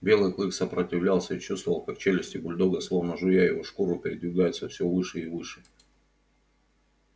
белый клык сопротивлялся и чувствовал как челюсти бульдога словно жуя его шкуру передвигаются все выше и выше